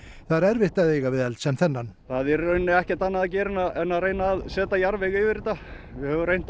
það er erfitt að eiga við eld sem þennan það er í raun ekkert annað að gera en að setja jarðveg yfir þetta við höfum reynt að